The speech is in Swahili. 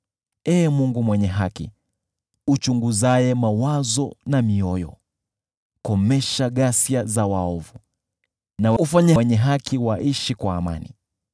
Ee Mungu mwenye haki, uchunguzaye mawazo na mioyo, komesha ghasia za waovu na ufanye wenye haki waishi kwa amani.